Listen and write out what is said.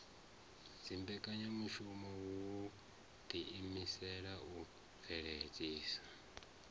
dzimbekanyamushumo wo ḓiimisela u bveledzisa